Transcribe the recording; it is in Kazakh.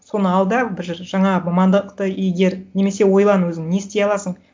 соны ал да бір жаңа мамандықты игер немесе ойлан өзің не істей аласың